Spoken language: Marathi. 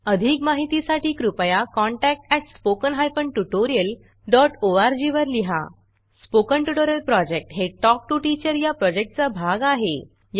अधिक माहितीसाठी कृपया contact at spoken hyphen tutorial dot O R G वर लिहा स्पोकन ट्युटोरियल प्रॉजेक्ट हे टॉक टू टीचर या प्रॉजेक्टचा भाग आहे